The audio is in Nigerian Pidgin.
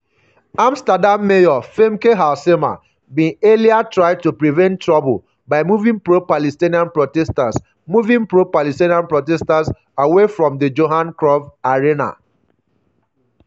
amsterdam mayor femke halsema bin earlier try to prevent trouble by moving pro-palestinian protesters moving pro-palestinian protesters away from the johan cruyff arena.